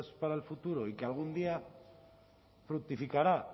para el futuro y que algún día fructificará